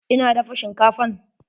Ina dafa shinkafan.